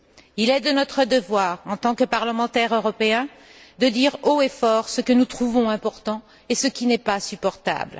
Il est de notre devoir, en tant que parlementaires européens, de dire haut et fort ce que nous trouvons important et ce qui n'est pas supportable.